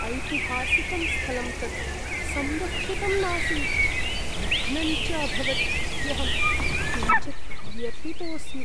ऐतिहासिकं स्थलं तत् संरक्षितं नासीत्, भग्नञ्च अभवत् इत्यहं किञ्चित् व्यथितोऽस्मि।